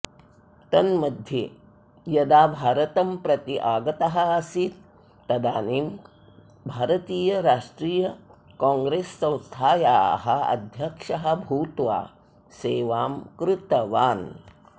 तन्मध्ये यदा भारतं प्रति आगतः आसीत् तदानीं भारतीयराष्ट्रियकाङ्ग्रेस्संस्थायाः अध्यक्षः भूत्वा सेवां कृतवान्